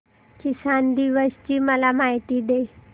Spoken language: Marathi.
किसान दिवस ची मला माहिती दे